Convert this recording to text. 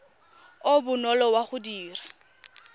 o bonolo wa go dira